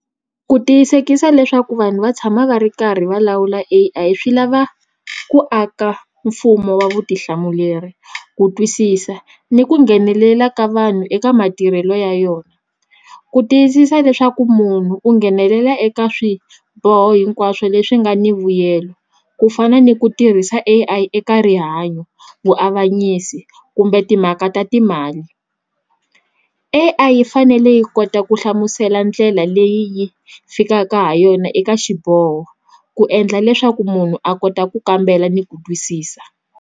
Ku tiyisekisa leswaku vanhu va tshama va ri karhi va lawula A_I swi lava ku aka mfumo wa vutihlamuleri ku twisisa ni ku nghenelela ka vanhu eka matirhelo ya yona ku tiyisisa leswaku munhu u nghenelela eka swiboho hinkwaswo leswi nga ni vuyelo ku fana ni ku tirhisa A_I eka rihanyo vuavanyisi kumbe timhaka ta ti mali A_I yi fanele yi kota ku hlamusela ndlela leyi yi fikaka ha yona eka xiboho ku endla leswaku munhu a kota ku kambela ni ku twisisa.